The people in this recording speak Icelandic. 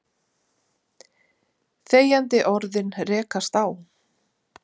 Þegjandi orðin rekast á.